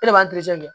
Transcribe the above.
E de b'an